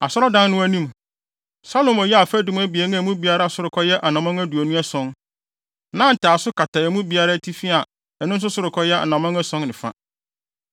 Asɔredan no anim, Salomo yɛɛ afadum abien a emu biara sorokɔ yɛ anammɔn aduonu ason. Na ntaaso kata emu biara atifi a ɛno nso sorokɔ yɛ anammɔn ason ne fa.